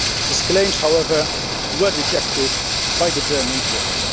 His claims, however, were rejected by the German courts.